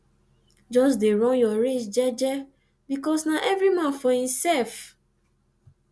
jus dey run yur race jeje bikos na evri man for himself